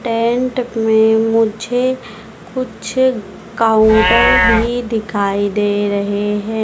Tent में मुझे कुछ काउंटर भी दिखाई दे रहे हैं।